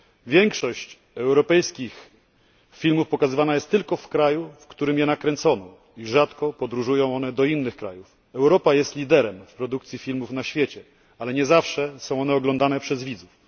Większość europejskich filmów pokazywana jest tylko w kraju, w którym je nakręcono, i rzadko podróżują one do innych krajów. Europa jest liderem w produkcji filmów na świecie, ale nie zawsze są one oglądane przez widzów.